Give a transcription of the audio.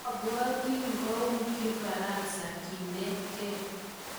mabwoti ngoui kifaransa kenetgei